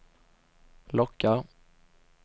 lockar